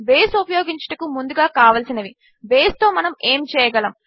base ఉపయోగించుటకు ముందుగా కావలిసినవి బేస్తో మనము ఏమి చేయగలము